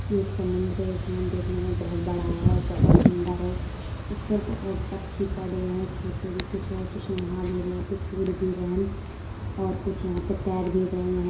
ये एक समुंद्र है। ये समुंद्र देखने में बहोत बड़ा है और बहोत सुंदर है। इसमें बहोत पक्षी बड़े हैं छोटे भी कुछ हैं। कुछ नहा भी रहे हैं। कुछ उड़ भी रहे हैं और कुछ यहाँं पे तैर भी रहे हैं। यहाँं --